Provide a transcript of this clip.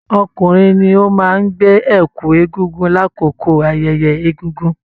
Ọkùnrin ní o máa n gbè ẹkú eégún l'akoko ayẹyẹ egúngún.